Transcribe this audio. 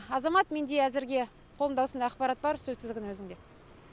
азамат менде әзірге қолымда осындай ақпарат бар сөз тізгіні өзіңде